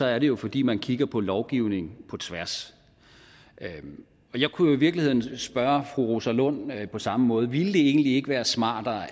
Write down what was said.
er det jo fordi man kigger på lovgivning på tværs og jeg kunne jo i virkeligheden spørge fru rosa lund på samme måde ville det egentlig ikke være smartere